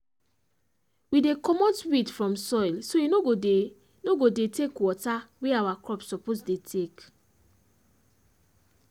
we dey comot weed from soil so e no go dey no go dey take water wey our crops suppose dey take